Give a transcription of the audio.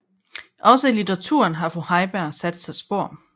Også i litteraturen har fru Heiberg sat sig spor